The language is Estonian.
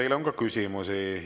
Teile on ka küsimusi.